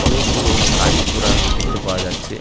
অনেক গুলো গাড়ি-ঘোড়া দেখতে পাওয়া যাচ্ছে ।